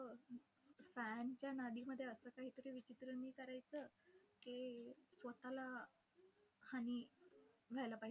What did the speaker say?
fan च्या नादीमध्ये असं काहीतरी विचित्र मी करायचं की स्वतःला व्हायला पाहिजे.